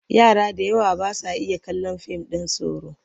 Yara da yawa ba sa iya kallon fim ɗin tsoro.